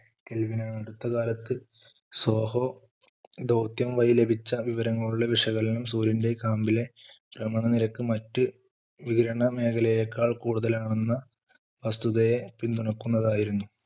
kelvn അടുത്ത കാലത്ത് SOHO ദൗത്യം വഴി ലഭിച്ച വിവരങ്ങളുടെ വിശകലനം സൂര്യൻറെ കാമ്പിലെ ഭ്രമണനിരക്ക് മറ്റ് വിവരണ മേഖലയെക്കാൾ കൂടുതലാണെന്ന് വസ്തുതയെ പിന്തുണയ്ക്കുന്നത് ആയിരുന്നു